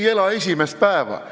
Me ei ela esimest päeva!